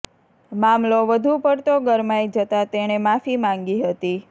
મામલો વધુ પડતો ગરમાઈ જતાં તેણે માફી માંગી હતી